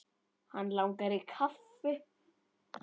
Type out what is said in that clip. Hann langar í kaffi.